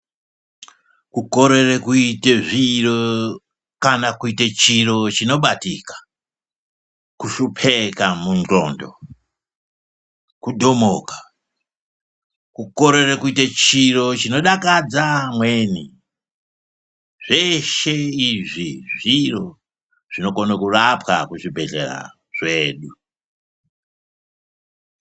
Ku korere kuite zviro kana kuite chiro chino batika ku hlupeka mu ndxondo ku dhomoko ku korere kuite chiro chino dakadza amweni zveshe izvi zviro zvino kone kurapwa ku zvibhedhlera zvedu.